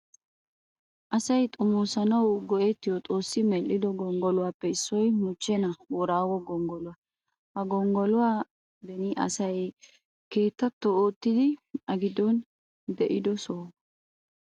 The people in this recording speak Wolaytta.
Asay xomosanawu go'ettiyo xoossi medhdhido gonggoluwaappe issoy mochchena boorago gonggoluwaa. Ha gonggoluwaa beni asay keettatto oottidi a giddon de'ido sohuwaa.